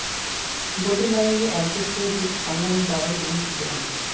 ভোটের লড়াইয়ে একজোট হয়ে বুথ আগলানোর দাওয়াই দিলেন সূর্যকান্ত